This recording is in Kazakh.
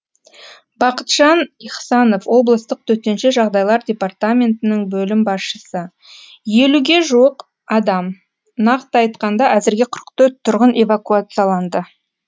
бақытжан ихсанов облыстық төтенше жағдайлар департаментінің бөлім басшысы елуге жуық адам нақты айтқанда әзірге қырық төрт тұрғын эвакуацияланды